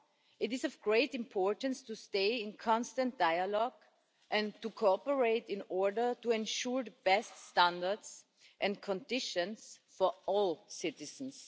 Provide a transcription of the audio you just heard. It is of great importance to stay in constant dialogue and to cooperate in order to ensure the best standards and conditions for all citizens.